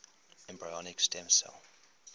embryonic stem cell